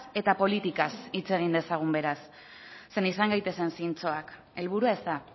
eta politikaz hitz egin dezagun beraz zeren izan gaitezen zintzoak helburua ez da